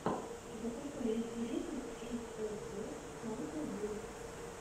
закачай лучший выпуск эс эс эс снайпер вульф